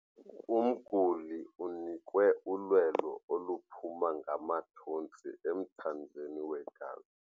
Umguli unikwe ulwelo oluphuma ngamathontsi emthanjeni wegazi.